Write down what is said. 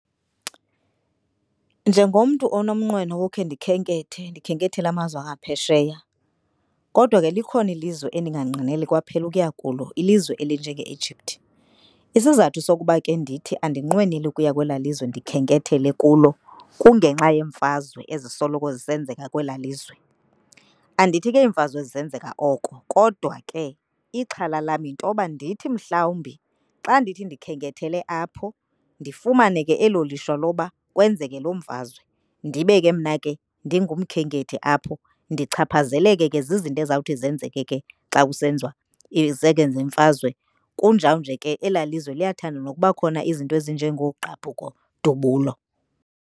Njengomntu onomnqweno wokhe ndikhenkethe, ndikhenkethele amazwe angaphesheya kodwa ke likhona ilizwe endinganqweneli kwaphela ukuya kulo ilizwe elinje nge-Egypt. Isizathu sokuba ke ndithi andinqweneli ukuya kwelaa lizwe ndikhenkethele kulo kungenxa yeemfazwe ezisoloko zisenzeka kwelaa lizwe. Andithi ke imfazwe ezi zenzeka oko kodwa ke ixhala lam yintoba ndithi mhlawumbi xa ndithi ndikhenkethele apho ndifumane ke elo lishwa loba kwenzeke loo mfazwe ndibe ke mna ke ndingumkhenkethi apho. Ndichaphazeleke ke zizinto ezawuthi zenzeke ke xa kusenziwa izeke zemfazwe. Kunjalo ke elaa lizwe liyathanda nokuba khona izinto ezinje ngoogqabhuko-dubulo.